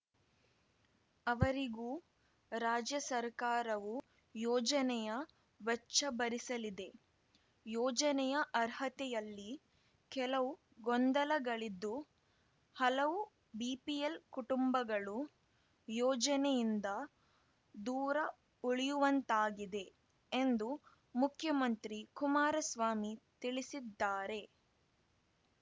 ಅವರಿಗೂ ರಾಜ್ಯ ಸರ್ಕಾರವು ಯೋಜನೆಯ ವೆಚ್ಚ ಭರಿಸಲಿದೆ ಯೋಜನೆಯ ಅರ್ಹತೆಯಲ್ಲಿ ಕೆಲವು ಗೊಂದಲಗಳಿದ್ದು ಹಲವು ಬಿಪಿಎಲ್‌ ಕುಟುಂಬಗಳು ಯೋಜನೆಯಿಂದ ದೂರ ಉಳಿಯುವಂತಾಗಿದೆ ಎಂದು ಮುಖ್ಯಮಂತ್ರಿ ಕುಮಾರಸ್ವಾಮಿ ತಿಳಿಸಿದ್ದಾರೆ